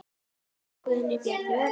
Jón Guðni, Bjarni og Agnar.